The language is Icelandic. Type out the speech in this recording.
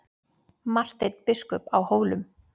MARTEINN BISKUP Á HÓLUM